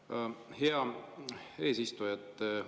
Aitäh, hea eesistuja!